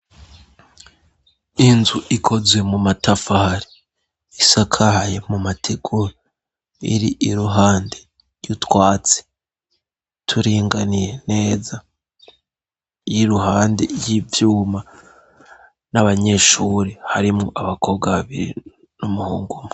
Inzu ikozwe mu matafari. Isakaye mu mategura, iri iruhande y'utwatsi turinganiye neza, iri iruhande y'ivyuma n'abanyeshure harimwo abakobwa babiri n'umuhungu umwe.